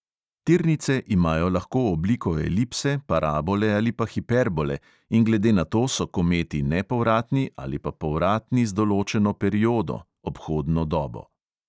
Tirnice imajo lahko obliko elipse, parabole ali pa hiperbole in glede na to so kometi nepovratni ali pa povratni z določeno periodo (obhodno dobo).